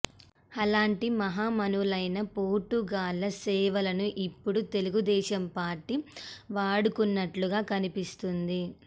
అలాంటి మహామహులైన పోటుగాళ్ల సేవలను ఇప్పుడు తెలుగుదేశం పార్టీ వాడుకుంటున్నట్లుగా కనిపిస్తోంది